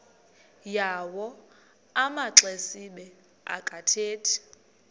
yawo amaxesibe akathethi